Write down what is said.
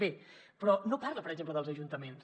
bé però no parla per exemple dels ajuntaments